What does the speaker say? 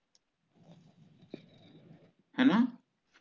ਹੈ ਨਾ